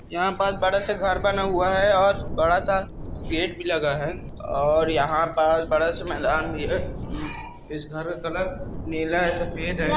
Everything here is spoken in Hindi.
यहां पर बड़ा सा घर बना हुआ है और बड़ा सा गेट भी लगा है और यहां बड़ा सा मैदान भी है। इस इस घर का कलर नीला और सफेद है।